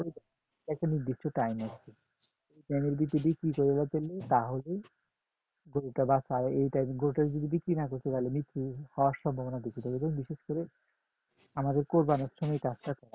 একটা নির্দিষ্ট time আছে ওই time এর ভিতরে বিক্রি করতে পারলে তাহলে গরুটা বাঁচার আর এই time গরুটা যদি বিক্রি না করতে পারলে মৃত্যু হওয়ার সম্ভাবনা বেশি থাকে এজন্য বিশেষ করে আমাদের কুরবানী সময়